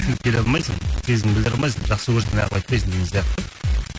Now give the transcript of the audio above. сен келе алмайсың сезім білдер алмайсың жақсы көрсең неғып айтпайсың деген сияқты